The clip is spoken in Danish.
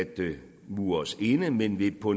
mure os inde men ved på